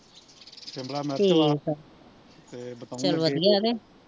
ਸ਼ਿਮਲਾ ਮਿਰਚਾਂ ਤੇ ਬਤਾਊ